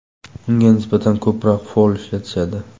Unga nisbatan ko‘proq fol ishlatishadi.